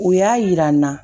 U y'a yira n na